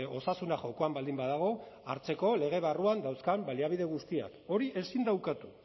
osasuna jokoan baldin badago hartzeko lege barruan dauzkan baliabide guztiak hori ezin da ukatu